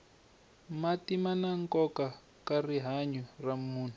mati mana nkoka ka rihanya ra munhu